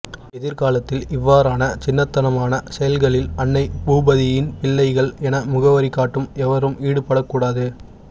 எதிர்காலத்தில் இவ்வாறான சின்னத்தனமான செயல்களில் அன்னைபூபதியின் பிள்ளைகள் என முகவரி காட்டும் எவரும் ஈடுபடக்கூடாது